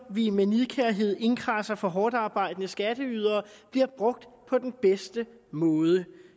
vi med nidkærhed indkradser fra hårdtarbejdende skatteydere bliver brugt på den bedste måde